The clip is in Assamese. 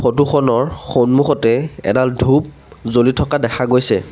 ফটো খনৰ সন্মুখতে এডাল ধূপ জ্বলি থকা দেখা গৈছে।